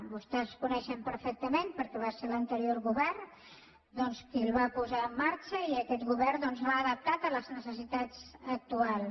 vostès el coneixen perfectament perquè va ser l’anterior govern doncs qui el va posar en marxa i aquest govern l’ha adaptat a les necessitats actuals